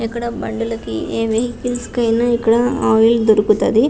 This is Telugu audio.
ఇక్కడ బండ్లకి ఏ వెహికల్స్ కి ఐన ఆయిల్ దొరుకుతది.